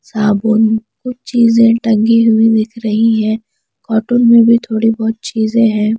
साबुन कुछ चीजें टगी हुई दिख रही है कॉर्टून में भी थोड़ी बहुत चीजें हैं।